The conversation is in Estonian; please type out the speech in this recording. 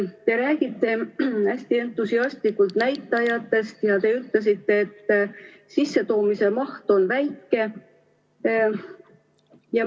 Te räägite hästi entusiastlikult näitajatest ja ütlesite, et sissetoomise maht on väike.